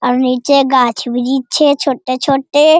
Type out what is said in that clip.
और नीचे गाछ वृछ है छोटे-छोटे ।